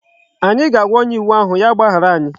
Anyi ga-aagwa onye iwu ahu ya gbahara anyi